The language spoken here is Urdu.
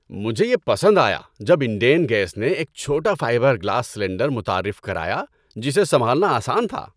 مجھے یہ پسند آیا جب انڈین گیس نے ایک چھوٹا فائبر گلاس سلنڈر متعارف کرایا جسے سنبھالنا آسان تھا۔